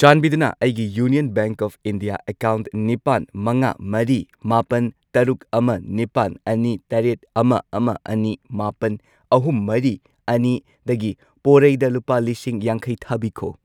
ꯆꯥꯟꯕꯤꯗꯨꯅ ꯑꯩꯒꯤ union bank of India account ꯅꯤꯄꯥꯟ, ꯃꯉꯥ, ꯃꯔꯤ, ꯃꯥꯄꯟ , ꯇꯔꯨꯛ, ꯑꯃ, ꯅꯤꯄꯥꯜ, ꯑꯅꯤ, ꯇꯔꯦꯠ, ꯑꯃ, ꯑꯃ, ꯑꯅꯤ, ꯃꯥꯄꯜ, ꯑꯍꯨꯝ, ꯃꯔꯤ, ꯑꯅꯤꯗꯒꯤ ꯄꯣꯔꯩꯗ ꯂꯨꯄꯥ ꯂꯤꯁꯤꯡ ꯌꯥꯡꯈꯩ ꯊꯥꯕꯤꯈꯣ꯫